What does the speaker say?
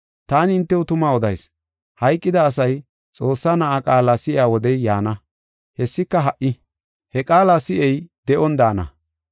Taani hintew tuma odayis; hayqida asay Xoossaa Na7aa qaala si7iya wodey yaana; hessika ha77i. He qaala si7ey de7on daana.